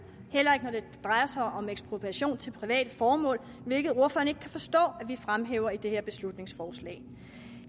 heller ikke når det drejer sig om ekspropriation til private formål hvilket ordføreren ikke kan forstå at vi fremhæver i det her beslutningsforslag